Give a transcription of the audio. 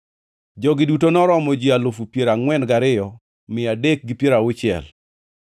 Jogi duto noromo ji alufu piero angʼwen gariyo mia adek gi piero auchiel (42,360),